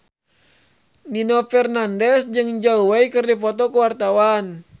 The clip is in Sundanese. Nino Fernandez jeung Zhao Wei keur dipoto ku wartawan